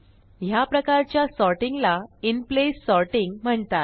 ह्या प्रकारच्या सॉर्टिंग ला इनप्लेस सॉर्टिंग म्हणतात